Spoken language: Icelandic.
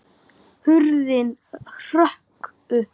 Hurðin hrökk upp!